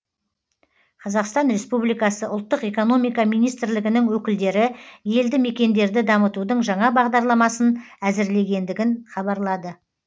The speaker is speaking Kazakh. қазақстан республикасы ұлттық экономика министрлігінің өкілдері елді мекендерді дамытудың жаңа бағдарламасын әзірлегендігін хабарлады